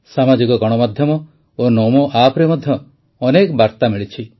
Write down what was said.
ସାମାଜିକ ଗଣମାଧ୍ୟମ ଓ ନମୋ ଆପରେ ମଧ୍ୟ ଅନେକ ବାର୍ତା ମିଳିଛି